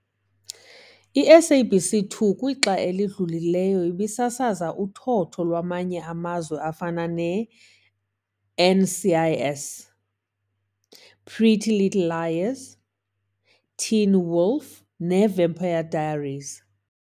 I-SABC 2 kwixa elidlulileyo, ibisasaza uthotho lwamanye amazwe afana ne- i-NCIS, Pretty Little Liars, Teen Wolf ne Vampire Diaries.